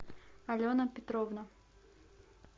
алена петровна